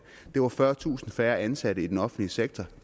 det var fyrretusind færre ansatte i den offentlige sektor